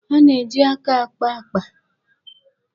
A na-eji aka ákpâ àkpà.